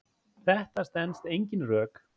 Þetta stenst engin rök.